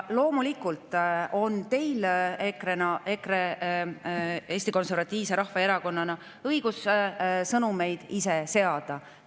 Loomulikult on teil EKRE‑na, Eesti Konservatiivse Rahvaerakonnana õigus oma sõnumeid ise seada.